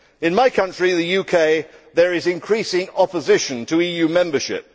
In my country, the UK, there is increasing opposition to EU membership.